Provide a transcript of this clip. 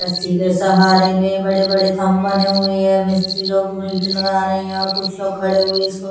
रस्सी के सहारे में बड़े बड़े थम्ब बने हुए हैं मिस्त्री लोग मीटर लगा रहे हैं और लोग खड़े हुए इसको --